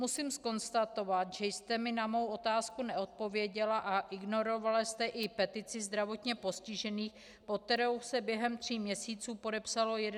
Musím konstatovat, že jste mi na mou otázku neodpověděla a ignorovala jste i petici zdravotně postižených, pod kterou se během tří měsíců podepsalo 11 373 lidí.